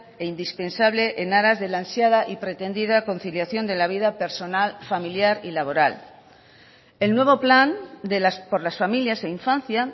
e indispensable en aras de la ansiada y pretendida conciliación de la vida personal familiar y laboral el nuevo plan por las familias e infancia